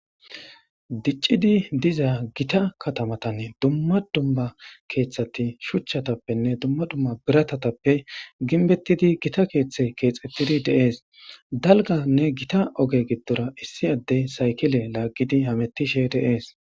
Diccidi diza gita kattamatani diza dumma dumma keeththati shuchchatappenne dumma dumma biratappe gimbbetida keeththayi keeththetidi deessi daliganne gita oge giddora issi addey sayikile laagidi hametishshe dessi